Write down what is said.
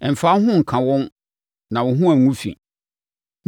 Mfa wo ho nka wɔn na wo ho angu fi.